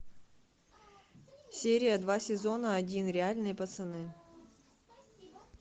серия два сезона один реальные пацаны